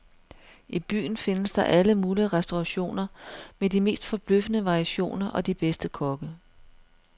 I byen findes der alle mulige restaurationer med de mest forbløffende variationer og de bedste kokke.